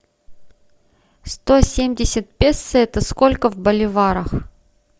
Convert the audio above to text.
сто семьдесят песо это сколько в боливарах